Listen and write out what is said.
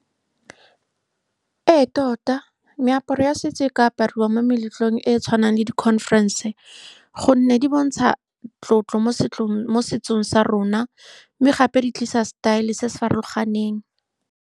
Ee, tota meaparo ya setso e ka apariwa mo meletlong e e tshwanang le di-conference ka gonne di bontsha tlotlo mo mo setsong sa rona, mme gape di tlisa setaele se se farologaneng.